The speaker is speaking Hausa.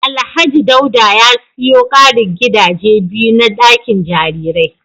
Alhaji Dauda ya siyo karin gadaje biyu na dakin jarirai